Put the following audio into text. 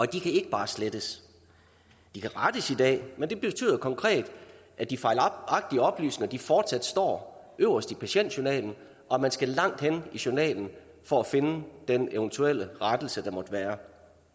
de kan ikke bare slettes de kan rettes i dag men det betyder konkret at de fejlagtige oplysninger fortsat står øverst i patientjournalen og at man skal langt hen i journalen for at finde den eventuelle rettelse der måtte være